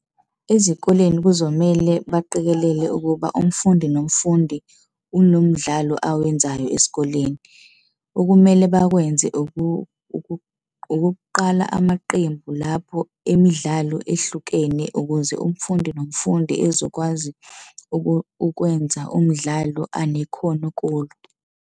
Ezikoleni kuzomele baqikelele ukuba umfundi nomfundi unomdlalo awenzayo esikoleni. Okumele bakwenze ukuqala amaqembu lapho emidlalo ehlukene ukuze umfundi nomfundi ezokwazi ukwenza umdlalo anekhono kulo.